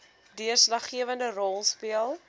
deurslaggewende rol speel